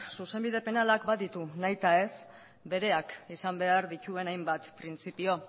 zuzenbide penalak baditu nahitaez bereak izan behar dituen hainbat printzipio